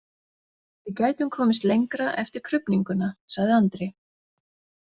Við gætum komist lengra eftir krufninguna, sagði Andri.